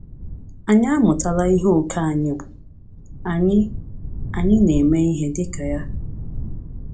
Anyị amụtala ihe ókè anyị bụ, anyị anyị na - eme ihe dịka ya.